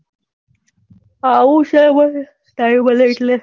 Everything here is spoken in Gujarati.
આવું છું ને time મળે એટલે